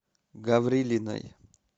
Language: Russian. гаврилиной